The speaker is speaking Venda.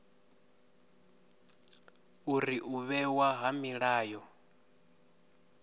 uri u vhewa ha milayo